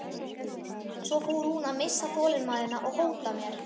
Svo fór hún að missa þolinmæðina og hóta mér.